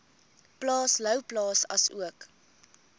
plaas louwplaas asook